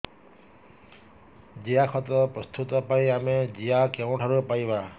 ଜିଆଖତ ପ୍ରସ୍ତୁତ ପାଇଁ ଆମେ ଜିଆ କେଉଁଠାରୁ ପାଈବା